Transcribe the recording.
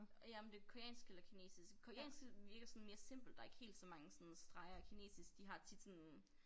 Og ja om det koreansk eller kinesisk. Koreansk det virker sådan mere simpelt der ikke helt så mange sådan streger og kinesisk de har tit sådan